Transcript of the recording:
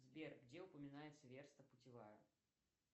сбер где упоминается верста путевая